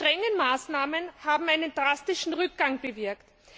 Die strengen Maßnahmen haben einen drastischen Rückgang bewirkt.